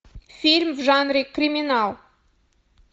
фильм в жанре криминал